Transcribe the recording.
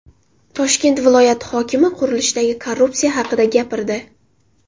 Toshkent viloyati hokimi qurilishdagi korrupsiya haqida gapirdi.